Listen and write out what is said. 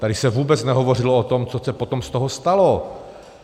Tady se vůbec nehovořilo o tom, co se potom z toho stalo.